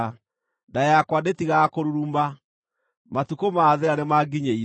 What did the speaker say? Nda yakwa ndĩtigaga kũruruma; matukũ ma thĩĩna nĩmanginyĩire.